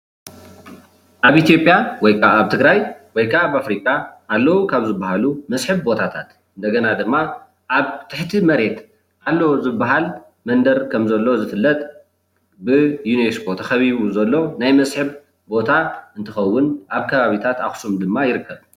ኣብ ኢትዮጵያ ወይ ከዓ ኣብ ትግራይ ወይ ከዓ ኣብ ኣፍሪካ ኣለዉ ካብ ዝባሃሉ መስሕብ ቦታታት እንደገና ድማ ኣብ ትሕቲ መሬት ኣሎ ዝባሃል መንደር ከም ዘሎ ዝፍለጥ ብዩኒስኮ ተከቢቡ ዘሎ ናይ መስሕብ ቦታ እንትከውን ኣብ ከባቢታት ኣክሱም ድማ ይርከብ፡፡